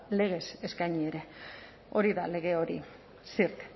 legez eskaini ere hori da lege hori zirt